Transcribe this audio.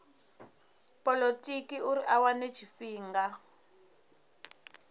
polotiki uri a wane tshifhinga